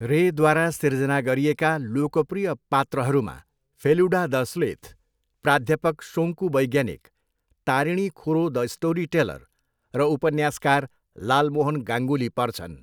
रेद्वारा सिर्जना गरिएका लोकप्रिय पात्रहरूमा फेलुडा द स्लेथ, प्राध्यापक शोन्कु वैज्ञानिक, तारिणी खुरो द स्टोरीटेलर र उपन्यासकार लालमोहन गाङ्गुली पर्छन्।